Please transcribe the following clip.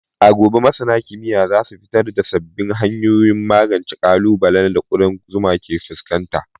A gobe, masana kimiyya za su fitar da sabbin hanyoyin magance ƙalubalen da ƙudan zuma ke fuskanta.